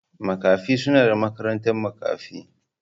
Makafi suna da makarantar makafi.